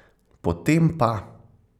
Potem pa ...